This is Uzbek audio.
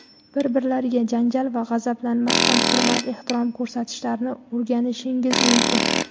bir-birlariga janjal va g‘azablanmasdan hurmat-ehtirom ko‘rsatishlarini o‘rganishingiz mumkin.